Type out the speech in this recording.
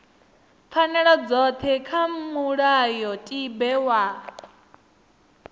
pfanelo dzothe kha mulayotibe wa